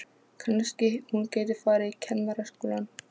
Kannski hún gæti farið í Kennaraskólann.